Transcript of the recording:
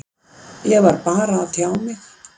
Ég var bara að tjá mig.